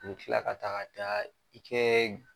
I be tila ka taga daa i kɛɛ g